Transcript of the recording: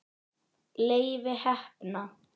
Leifi heppna.